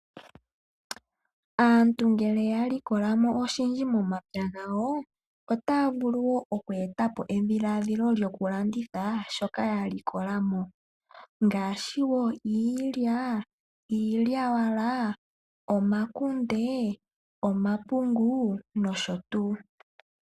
Aantu ngele ya likolamo oshindji momatsa gawoo, otaavulu woo okweetapo edhiladhilo lyokulanditha shoka yalikolamo. Ngaashi woo iilya, iilyawala, omakunde, omapungu nosho tuu.